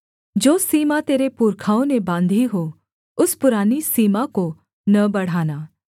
जो सीमा तेरे पुरखाओं ने बाँधी हो उस पुरानी सीमा को न बढ़ाना